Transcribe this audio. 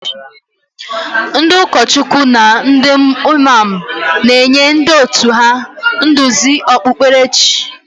Ndị ụkọchukwu na ndị Imam na-enye ndị òtù ha nduzi okpukperechi.